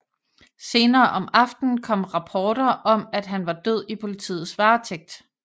Senere om aftenen kom rapporter om at han var død i politiets varetægt